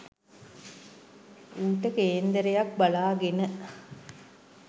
ඌට කේන්දරයක් බලාගෙන